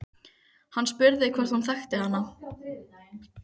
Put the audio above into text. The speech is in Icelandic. Hann spurði hvort hún þekkti hana.